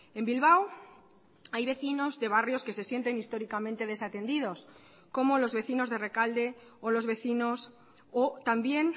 en bilbao hay vecinos de barrios que se sienten históricamente desatendidos como los vecinos de rekalde o los vecinos o también